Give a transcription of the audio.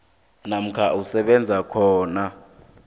namkha usebenza khona